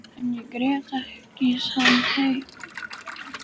En ég grét ekki þann heim.